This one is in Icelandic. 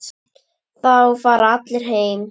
Þá fara allir heim.